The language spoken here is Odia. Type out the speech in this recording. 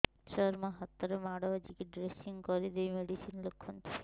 ସାର ମୋ ହାତରେ ମାଡ଼ ବାଜିଛି ଡ୍ରେସିଂ କରିଦେଇ ମେଡିସିନ ଲେଖନ୍ତୁ